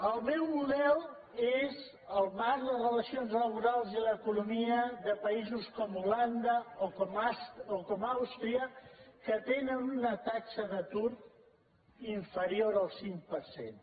el meu model és el marc de relacions laborals i l’econo·mia de països com holanda o com àustria que tenen una taxa d’atur inferior al cinc per cent